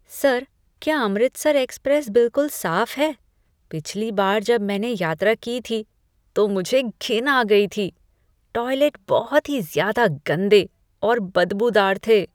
Sir, क्या Amritsar express बिलकुल साफ है? पिछली बार जब मैंने यात्रा की थी, तो मुझे घिन आ गई थी। टॉयलेट बहुत ही ज़्यादा गंदे और बदबूदार थे।